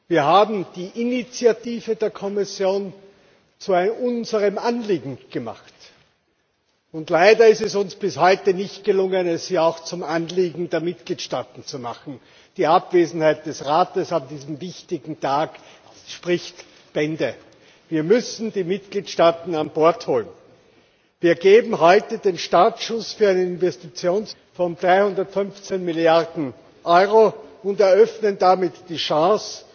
Wir haben die Initiative der Kommission zu unserem Anliegen gemacht. Leider ist es uns bis heute nicht gelungen, sie auch zum Anliegen der Mitgliedstaaten zu machen. Die Abwesenheit des Rates an diesem wichtigen Tag spricht Bände. Wir müssen die Mitgliedstaaten an Bord holen! Wir geben heute den Startschuss für Investitionen in Höhe von 315 Milliarden EUR und eröffnen damit die